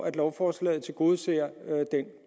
at lovforslaget tilgodeser den